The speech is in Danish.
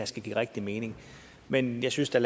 skal give rigtig mening men jeg synes at